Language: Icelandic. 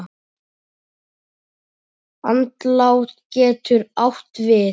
Andlát getur átt við